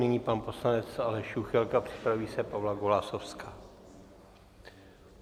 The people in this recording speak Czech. Nyní pan poslanec Aleš Juchelka, připraví se Pavla Golasowská.